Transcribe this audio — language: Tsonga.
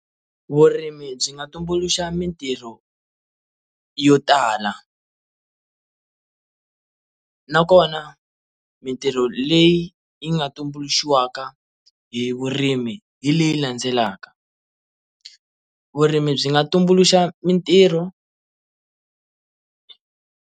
Vurimi byi nga tumbuluxa mitirho yo tala na kona mitirho leyi yi nga tumbuluxiwaka hi vurimi hi leyi landzelaka, vurimi byi nga tumbuluxa mitirho.